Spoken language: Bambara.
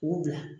K'u bila